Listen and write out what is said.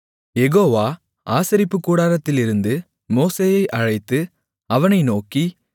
யெகோவா ஆசரிப்புக்கூடாரத்திலிருந்து மோசேயை அழைத்து அவனை நோக்கி